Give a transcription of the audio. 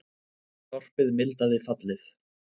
Sorpið mildaði fallið